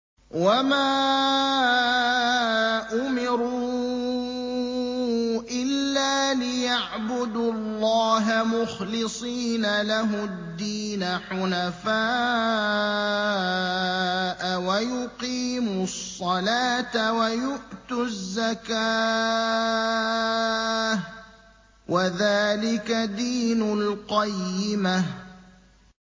وَمَا أُمِرُوا إِلَّا لِيَعْبُدُوا اللَّهَ مُخْلِصِينَ لَهُ الدِّينَ حُنَفَاءَ وَيُقِيمُوا الصَّلَاةَ وَيُؤْتُوا الزَّكَاةَ ۚ وَذَٰلِكَ دِينُ الْقَيِّمَةِ